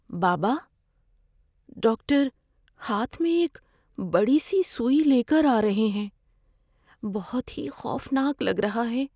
بابا، ڈاکٹر ہاتھ میں ایک بڑی سی سوئی لے کر آ رہے ہیں۔ بہت ہی خوفناک لگ رہا ہے۔